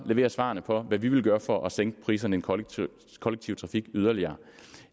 levere svarene på hvad vi vil gøre for at sænke priserne i den kollektive trafik yderligere